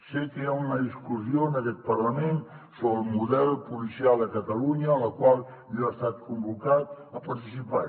sé que hi ha una discussió en aquest parlament sobre el model policial a catalunya en la qual jo he estat convocat a participar